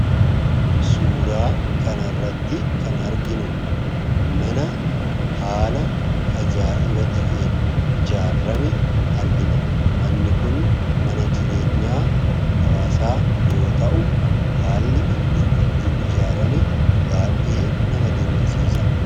Suuraa kanarratti kan arginu, mana haala ajaa'iba ta'een ijaarrame argina. Manni kun mana jireenyaa hawaasaa yoo ta'u , haalli inni ittiin ijaarrame baayyee nama dinqisiisa.